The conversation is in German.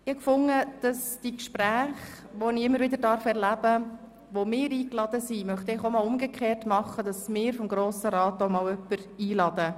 Nun wollte ich einmal umgekehrt vom Grossen Rat aus Gäste einladen.